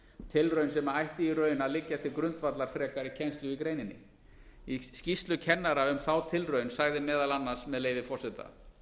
tilraun sem ætti í raun að liggja til grundvallar frekari kennslu í greininni í skýrslu kennara um þá tilraun sagði meðal annars með leyfi forseta